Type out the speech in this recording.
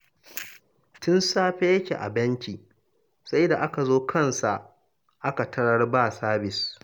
Tun safe yake a bankin, sai da aka zo kansa aka tarar ba sabis